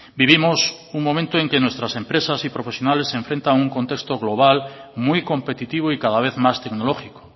vivimos un momento en que nuestras empresas y profesionales se enfrentan a un contexto global muy competitivo y cada vez más tecnológico